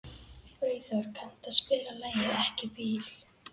Freyþór, kanntu að spila lagið „Ekki bíl“?